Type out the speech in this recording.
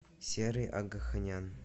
серый агаханян